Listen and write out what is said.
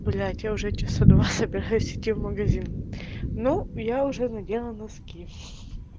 блять я уже часа два собираюсь идти в магазин ну я уже надела носки хи хи